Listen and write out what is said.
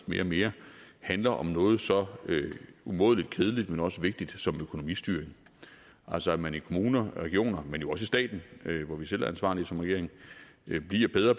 mere og mere handler om noget så umådelig kedeligt men også vigtigt som økonomistyring altså at man i kommuner og regioner men jo også i staten hvor vi selv er ansvarlige som regering bliver bedre